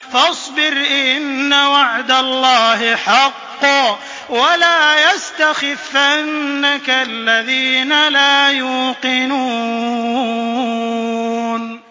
فَاصْبِرْ إِنَّ وَعْدَ اللَّهِ حَقٌّ ۖ وَلَا يَسْتَخِفَّنَّكَ الَّذِينَ لَا يُوقِنُونَ